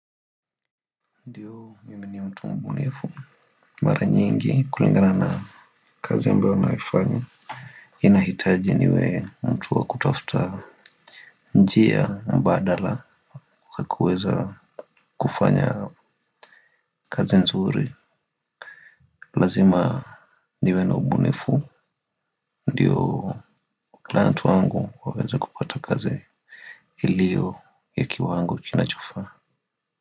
Ndiyo mimi ni mtu mbunifu. Mara nyingi kulingana na kazi ambayo naifanya inahitaji niwe mtu wa kutafuta njia mbadala wa kuweza kufanya kazi nzuri. Lazima niwe na mbunifu. Ndiyo client wangu waweze kupata kazi iliyo ya kiwango kinachofaa.